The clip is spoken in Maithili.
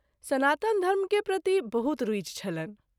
सनातन धर्म के प्रति बहुत रूचि छलनि।